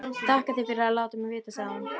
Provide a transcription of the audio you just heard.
Þakka þér fyrir að láta mig vita, sagði hún.